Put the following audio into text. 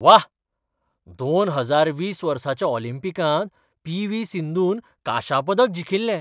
व्वा, दोम हजार वीस वर्साच्या ऑलिंपिकांत पी. व्ही. सिंधून कांशा पदक जिखिल्लें.